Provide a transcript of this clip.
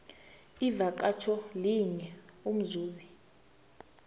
ivakatjho linye umzuzi